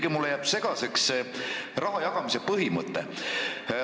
Ja mulle jääb ikkagi segaseks see rahajagamise põhimõte.